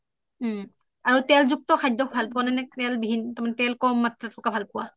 আৰু তেলযুক্ত খাদ্য ভাল পোৱা নে তেল বিহীন তুমি তেল কম মাত্ৰাত ভাল পোৱা